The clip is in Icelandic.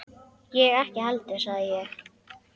Ég ekki heldur sagði ég.